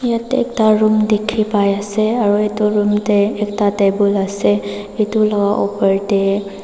yatey ekta room dikhipaiase aru edu room tey ekta table ase edu la opor tae--